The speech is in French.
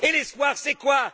Et l'espoir, c'est quoi?